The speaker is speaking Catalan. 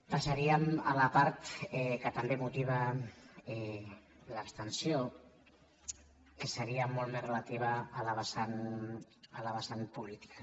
passaríem a la part que també motiva l’abstenció que seria molt més relativa a la vessant política